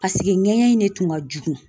Paseke ŋɛɲɛ in de tun ka jugu.